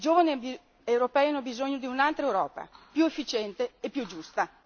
I giovani europei hanno bisogno di un'altra Europa più efficiente e più giusta.